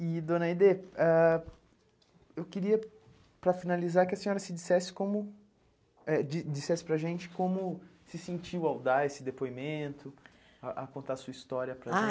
E, dona Aide, ãh eu queria, para finalizar, que a senhora se dissesse como, eh di dissesse para a gente como se sentiu ao dar esse depoimento, a a contar sua história para a gente. Ah